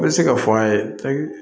N bɛ se ka fɔ an ye